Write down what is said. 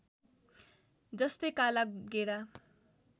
जस्तै काला गेडा